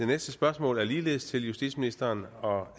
næste spørgsmål er ligeledes til justitsministeren og